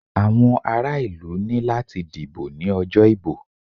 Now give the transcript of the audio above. Àwọn ara ìlú ní láti dìbò ní ọjọ́ ìbò.